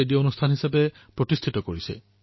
মই সংবাদ মাধ্যমক হৃদয়েৰে অভিনন্দন জনাইছো